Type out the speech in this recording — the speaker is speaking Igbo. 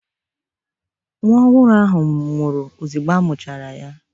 Nwa ọhụrụ nwụrụ ozigbo a muchara ya